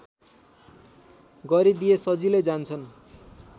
गरिदिए सजिलै जान्छन्